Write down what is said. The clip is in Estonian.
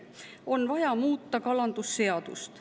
On vaja muuta kalandusseadust.